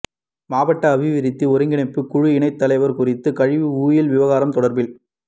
மாவட்ட அபிவிருத்தி ஒருங்கிணைப்பு குழு இணைத் தலைவர் குறித்த கழிவு ஓயில் விவகாரம் தொடர்பில்